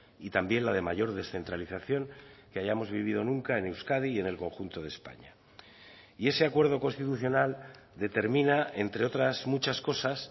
y también la de mayor descentralización que hayamos vivido nunca en euskadi y en el conjunto de españa y ese acuerdo constitucional determina entre otras muchas cosas